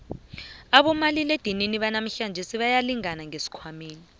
abomaliledinini banamhlanje bayalingana ngesikhwanyeni